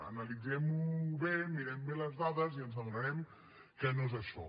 analitzem ho bé mirem bé les dades i ens adonarem que no és això